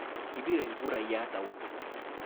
Kibire kurayat au?